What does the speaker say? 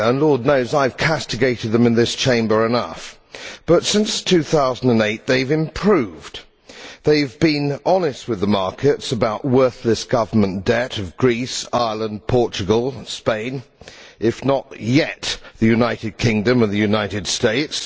Lord knows I have castigated them in this Chamber enough, but since 2008 they have improved. They have been honest with the markets about the worthless government debt of Greece, Ireland, Portugal, Spain, if not yet the United Kingdom and the United States.